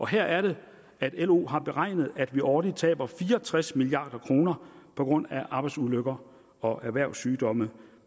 her er det lo har beregnet at vi årligt taber fire og tres milliard kroner på grund af arbejdsulykker og erhvervssygdomme